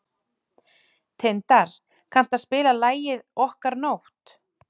Tindar, kanntu að spila lagið „Okkar nótt“?